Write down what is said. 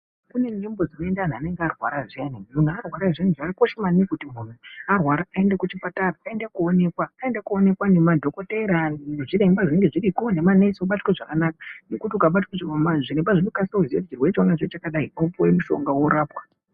Kunenzvimbo dzinoenda anhu anenge arwara zviyani, anthu anenge arwara zviyani, zvakakosha maningi kuti munthu einge arwara aende kuchipatara aende koonekwa ngemadhokotera, nezviremba zvinenge zviriko nemanesi obatwa zvakanaka ngekut ukabatwa zvakanaka zviremba zvinokasa kuona chirwere cheunacho chakadai wopuwa mushonga worapwa.